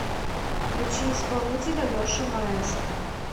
включи исполнителя леша маэстро